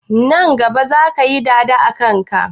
Nan gaba zaka yi dada a kanka?